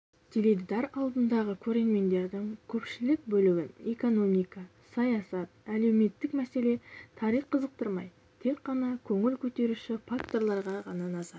теледидар алдындағы көрермендердің көпшілік бөлігін экономика саясат әлеуметтік мәселе тарих қызықтырмай тек қана көңіл көтеруші факторларға ғана назар